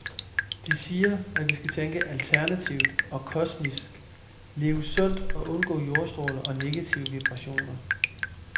De siger, at vi skal tænke alternativt og kosmisk, leve sundt og undgå jordstråler og negative vibrationer.